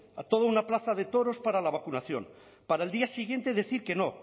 a toda una plaza de toros para la vacunación para al día siguiente decir que no